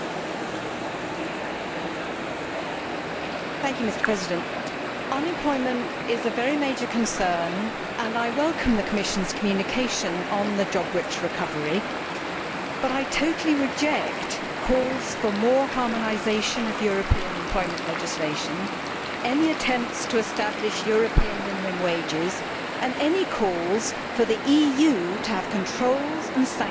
Mr President, unemployment is a very major concern and I welcome the Commission's communication on the job rich recovery, but I totally reject calls for more harmonisation of European employment legislation, any attempts to establish European minimum wages and any calls for the EU to have controls and sanctions in the national labour markets of Member States.